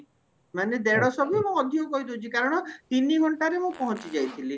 ମାନେ ଦେଢଶହ ବି ମୁଁ ଅଧିକ କହିଦଉଛି କାରଣ ତିନି ଘଣ୍ଟାରେ ମୁଁ ପହଞ୍ଚି ଯାଇଥିଲି